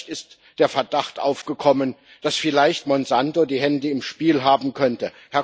Zu Recht ist der Verdacht aufgekommen, dass vielleicht Monsanto die Hände im Spiel haben könnte.